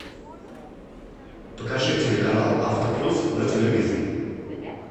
покажи телеканал автоплюс на телевизоре